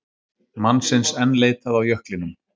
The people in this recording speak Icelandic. Mannsins enn leitað á jöklinum